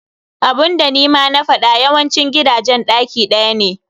Abunda nima na faɗa yawancin gidajen ɗaki ɗaya ne.